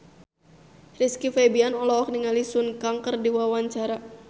Rizky Febian olohok ningali Sun Kang keur diwawancara